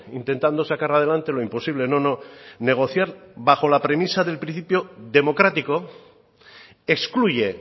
intentando sacar adelante lo imposible no no negociar bajo la premisa del principio democrático excluye